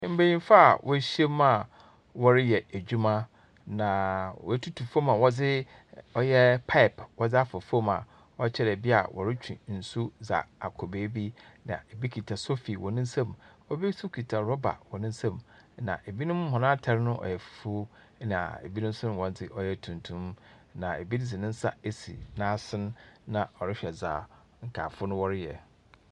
Mbenyimfo a woehyia mu a wɔreyɛ edwuma, na wɔatutu fam a wɔdze ɔyɛ pipe wɔdze afa fam a ɔkyerɛ dɛ bia wɔretwe nsu dza akz beebi, na ebi kuta sofi wɔ ne nsam. Obi nso kuta rɔba wɔ ne nsam, na ebinom hɔn atar no ɔyɛ fufuo, na ebinom nso hɔn dze ɔyɛ tuntum, na ebi dze ne nsa asi n'asen na ɔrehwɛ dza nkaefo no wɔreyɛ.